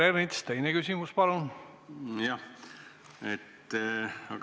Peeter Ernits, teine küsimus palun!